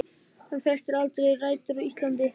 Hann festir aldrei rætur á Íslandi.